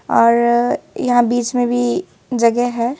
और यहां बीच में भी जगह है।